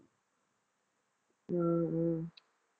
சரி